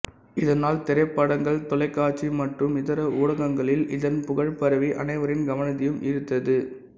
இதனால் திரைப்படங்கள்தொலைக்காட்சி மற்றும் இதர ஊடகங்களில் இதன் புகழ்பரவி அனைவரின் கவனத்தையும் ஈர்த்தது